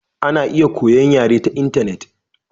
Ana iya koyon yare ta intanet.